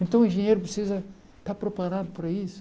Então o engenheiro precisa estar preparado para isso.